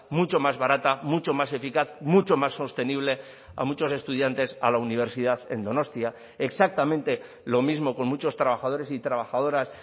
mucho más barata mucho más eficaz mucho más sostenible a muchos estudiantes a la universidad en donostia exactamente lo mismo con muchos trabajadores y trabajadoras